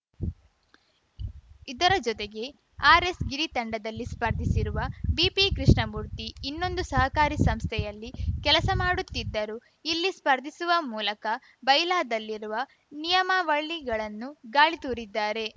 ಇದರ ಜೊತೆಗೆ ಆರ್‌ಎಸ್‌ಗಿರಿ ತಂಡದಲ್ಲಿ ಸ್ಪರ್ಧಿಸಿರುವ ಬಿಪಿ ಕೃಷ್ಣಮೂರ್ತಿ ಇನ್ನೊಂದು ಸಹಕಾರಿ ಸಂಸ್ಥೆಯಲ್ಲಿ ಕೆಲಸ ಮಾಡುತ್ತಿದ್ದರೂ ಇಲ್ಲಿ ಸ್ಪರ್ಧಿಸುವ ಮೂಲಕ ಬೈಲಾದಲ್ಲಿರುವ ನಿಯಮಾವಳಿಗಳನ್ನು ಗಾಳಿ ತೂರಿದ್ದಾರೆ